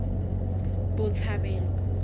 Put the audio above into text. botshabelo